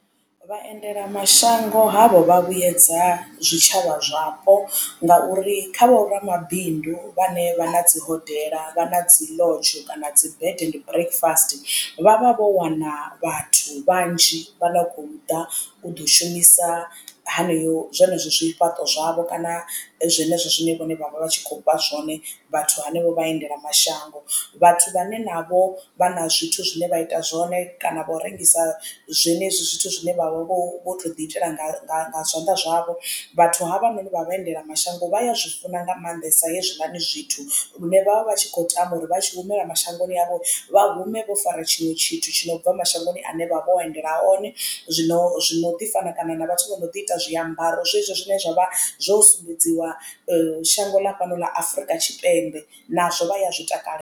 Vhaendelamashango havho vha vhuyedza zwitshavha zwapo ngauri kha vho ramabindu vhane vhana dzi hodela vha na dzi lodge kana dzi bed and breakfast vhavha vho wana vhathu vhanzhi vha no khou ḓa u ḓo shumisa haneyo zwenezwo zwifhaṱo zwavho kana zwenezwo zwine vhone vha vha vha tshi kho vha zwone vhathu hanevho vha endela mashango. Vhathu vhane na vho vha na zwithu zwine vha ita zwone kana vha u rengisa zwenezwi zwithu zwine vha vha vho vho to ḓi itela nga zwanḓa zwavho vhathu havha noni vha vhaendela mashango vha ya zwi funa nga maanḓesa hezwiḽani zwithu. Lune vhavha vhatshi kho tama uri vha tshi humela mashangoni avho vha hume vho fara tshiṅwe tshithu tshi no bva mashangoni ane vha vho endela one zwino zwino ḓi fana kana na vhathu vho no ḓi ita zwiambaro zwezwo zwine zwavha zwo sumbedziwa shango ḽa fhano ḽa Afurika Tshipembe nazwo vha ya zwi takalela.